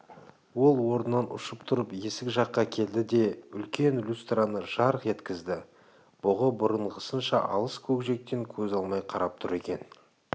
ол орнынан ұшып тұрып есік жаққа келді де үлкен люстраны жарқ еткізді бұғы бұрынғысынша алыс көкжиектен көз алмай қарап тұр екен